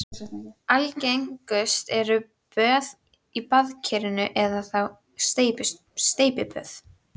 Algengust eru böð í baðkeri eða þá steypiböð.